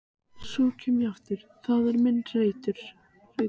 Valentín, stilltu niðurteljara á fjórtán mínútur.